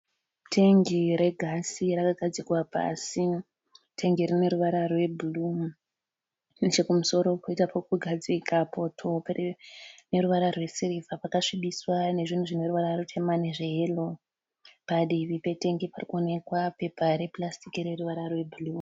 Tengi regasi rakagadzikwa pasi. Tengi iri rine ruvara rwebhuruu nechekumusoro koita pekugadzika poto paneruvara rwesirivha pakasvibiswa nezvinhu zvineruvara rutema nezveyero. Padivi petengi parikuonekwa papa repurasitiki rineruvara rwe bhuruu.